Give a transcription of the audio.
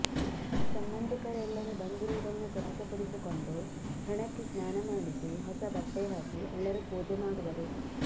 ಸಂಬಂಧಿಕರೆಲ್ಲರೂ ಬಂದಿರುವುದನ್ನು ಖಚಿತಪಡಿಸಿಕೊಂಡು ಹೆಣಕ್ಕೆ ಸ್ನಾನಮಾಡಿಸಿ ಹೊಸ ಬಟ್ಟೆಹಾಕಿ ಎಲ್ಲರೂ ಪೂಜೆ ಮಾಡುವರು